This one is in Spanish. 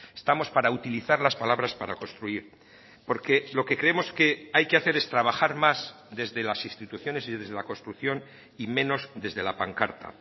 estamos para utilizar las palabras para construir porque lo que creemos que hay que hacer es trabajar más desde las instituciones y desde la construcción y menos desde la pancarta